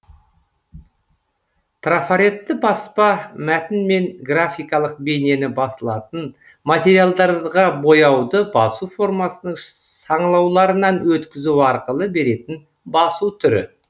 трафаретті баспа мәтін мен графикалық бейнені басылатын материалдарға бояуды басу формасының саңылауларынан өткізу арқылы беретін басу түрі